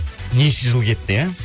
неше жыл кетті иә